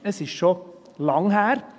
Es ist schon lange her.